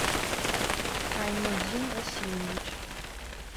айнудин васильевич